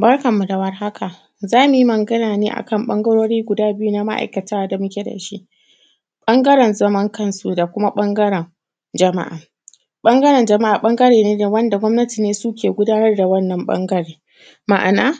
Barkan mu da warhaka, za mu yi magana ne a kan ƃangarori guda biyu na ma’aikata da muke da shi ƃangaren zaman kansu da kuma ƃangaren jama’a. Ɓangaren jama’a ƃangare ne da; wanda gwamnati ne suke gudanar da wannan ƃangaren, ma’ana